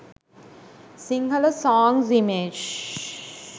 sinhala songs image